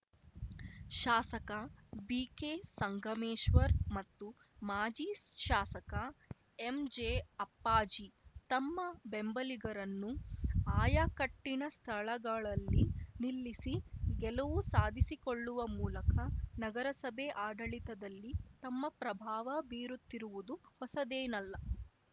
ಶಾಸಕ ಬಿಕೆ ಸಂಗಮೇಶ್ವರ್ ಮತ್ತು ಮಾಜಿ ಶಾಸಕ ಎಂಜೆ ಅಪ್ಪಾಜಿ ತಮ್ಮ ಬೆಂಬಲಿಗರನ್ನು ಆಯಾಕಟ್ಟಿನ ಸ್ಥಳಗಳಲ್ಲಿ ನಿಲ್ಲಿಸಿ ಗೆಲುವು ಸಾಧಿಸಿಕೊಳ್ಳುವ ಮೂಲಕ ನಗರಸಭೆ ಆಡಳಿತದಲ್ಲಿ ತಮ್ಮ ಪ್ರಭಾವ ಬೀರುತ್ತಿರುವುದು ಹೊಸದೇನಲ್ಲ